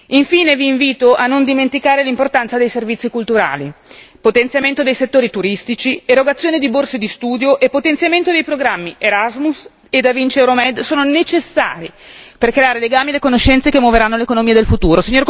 Infine vi invito a non dimenticare l'importanza dei servizi culturali potenziamento dei settori turistici, erogazione di borse di studio e potenziamento dei programmi Erasmus e Da Vinci Euromed sono necessari per creare i legami e le conoscenze che muoveranno l'economia del futuro.